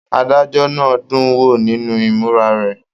Adájọ náà dún wo nínú imura rẹ.